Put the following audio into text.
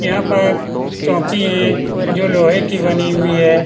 यहाँ पर चौंकी है जो लोहे की बनी हुई है ।